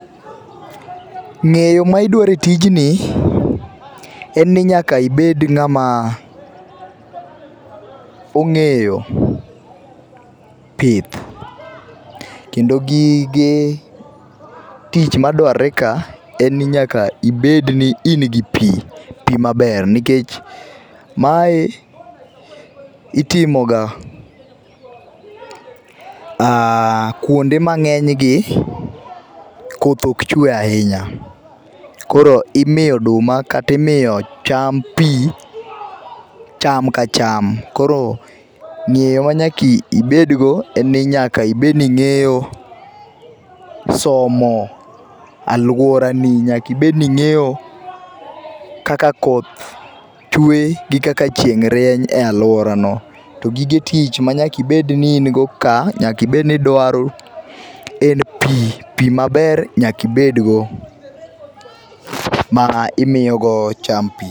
Ng'eyo ma idwaro etijni, en ni nyaka ibed ng'amaaa ong'eyo pith. Kendo gige tich madwarore ka en ni nyaka ibedni in gi pii, pii maber. Nikech, Mae itimoga aaa kuonde ma ng'enygi koth ok chue ahinya. Koro imiyo oduma kata imiyo cham pii, cham ka cham. Koro ng'eyo ma nyaka ibedgo en ni nyaka ibedni ing'eyo somo aluoarani nyaka ibedni ing'eyo kaka koth chue gi kaka chieng' rieny e aluoarano. To gige tich manyaka ibedni in go kaa, nyaka ibedni idwaro en pii. pii maber nyaka ibedgo ma imiyo go cham pii.